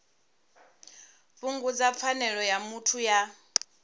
fhungudza pfanelo ya muthu ya